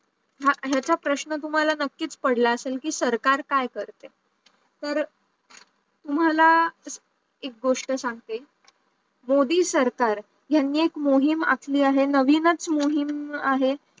हा याचा प्रश्न तुमहाला नकीत पडला असेल की सरकार काय करतेय? तर तुम्हाला एक गोष्ट सांगते, मोदी सरकार यांनी एक मोहीम अकली आहेस नवीनच मोहीम आहे